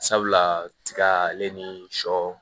Sabula tiga ale ni shɔ